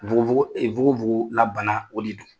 Nfukofoko, ɛ nukofoko la bana de don !